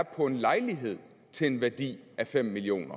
på en lejlighed til en værdi af fem million